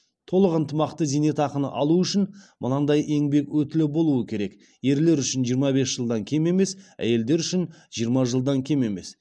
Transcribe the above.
толық ынтымақты зейнетақыны алу үшін мынадай еңбек өтілі болу керек ерлер үшін жиырма бес жылдан кем емес әйелдер үшін жиырма жылдан кем емес